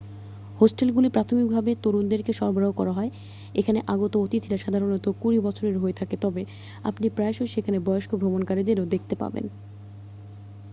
হোস্টেলগুলি প্রাথমিকভাবে তরুণদেরকে সরবরাহ করা হয় এখানে আগত অতিথিরা সাধারণত কুড়ি বছরের হয়ে থাকে তবে আপনি প্রায়শই সেখানে বয়স্ক ভ্রমণকারীদেরও দেখতে পাবেন